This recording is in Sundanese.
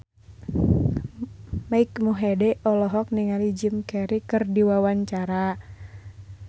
Mike Mohede olohok ningali Jim Carey keur diwawancara